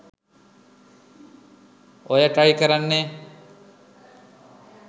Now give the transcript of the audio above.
ඔය ට්‍රයි කරන්නෙ